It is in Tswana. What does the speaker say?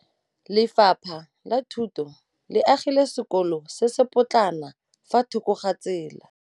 Lefapha la Thuto le agile sekôlô se se pôtlana fa thoko ga tsela.